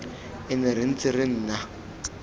ene re ntse re nna